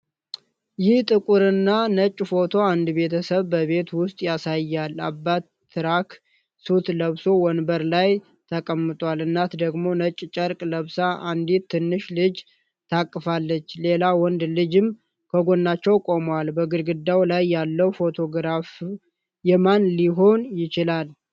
ይህ ጥቁር እና ነጭ ፎቶ አንድ ቤተሰብ በቤት ውስጥ ያሳያል። አባት ትራክ ሱት ለብሶ ወንበር ላይ ተቀምጧል፣ እናት ደግሞ ነጭ ጨርቅ ለብሳ አንዲት ትንሽ ልጅ ታቅፋለች። ሌላ ወንድ ልጅም ከጎናቸው ቆሟል። በግድግዳው ላይ ያለው ፎቶግራፍ የማን ሊሆን ይችላል?